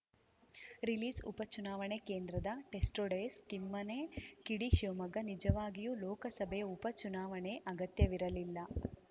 ರಿಲೀಸ್‌ಉಪ ಚುನಾವಣೆ ಕೇಂದ್ರದ ಟೆಸ್ಟೋಡೇಸ್‌ ಕಿಮ್ಮನೆ ಕಿಡಿ ಶಿವಮೊಗ್ಗ ನಿಜವಾಗಿಯೂ ಲೋಕಸಭೆ ಉಪ ಚುಣಾವಣೆ ಅಗತ್ಯವಿರಲಿಲ್ಲ